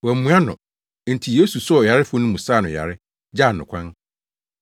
Wɔammua no. Enti Yesu soo ɔyarefo no mu saa no yare, gyaa no kwan.